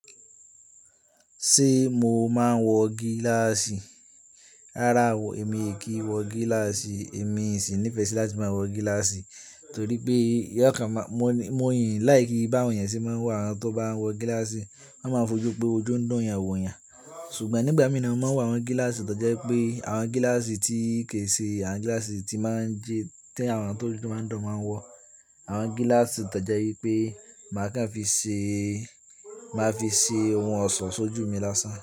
Ṣé mo máa ń wọ gíláàsì? Rárá o, èmi kì í wọ gíláàsì. Èmi o sì ní ìfẹ́ sí láti máa wọ gíláàsì torí pé yóò kàn máa-- mo, mo sii láìkí bi àwọn ènìyàn tí máa ń wọ, àwọn tó bá wọ gíláàsì, wọ́n máa fojú pé ojú ń dun yan wo yan. Ṣùgbọ́n nígbà mìíràn mo máa ń wọ àwọn gíláàsì tó jẹ́ pé àwọn gíláàsì tí kì í ṣe àwọn gíláàsì tí máa ń jẹ, tí àwọn tó ojú máa ń dán máa ń wọ. Àwọn gíláàsì tó jẹ́ wípé màá kàn fi ṣe, màá fi ṣe ohun ọ̀ṣọ́ sójú mi lásán.